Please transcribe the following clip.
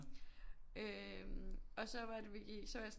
Øh og så var det vi gik så var jeg sådan